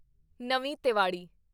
ਨਵੀਂ ਤੇਵਾੜੀ